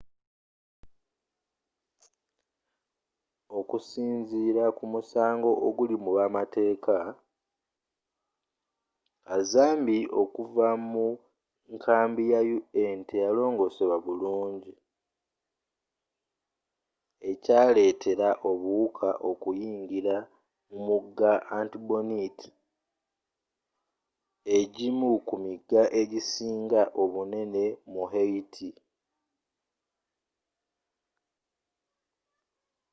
okusinziira kumusango oguli mubamateeka kazambi okuva mu nkambi ya un teyalongosebwa bulungi ekyaletera obuwuka okuyingira mu mugga artibonite egimu ku miga egisinga obunene mu haiti